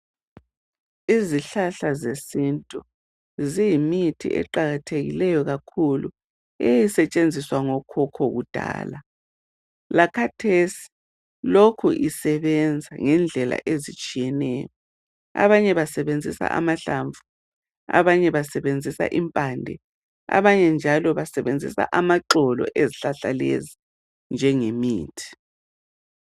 Izihlahla zesintu ziyimithi iqakathekileyo kakhulu eyayi setshenziswa ngokhokho ku dala lakhathesi lokhu isebenza ngendlela ezitshiyeneyo .Abanye basebenzisa amahlamvu abanye basebenzisa impande abanye njalo basebenzisa amaxolo ezihlahla lezo njengemithi.